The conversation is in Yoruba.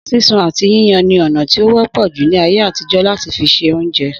Sísun àti yíyan ni ọ̀nà ti o wọ́pọ̀ jù ni ayé àtijọ́ láti fi ṣe oúnjẹ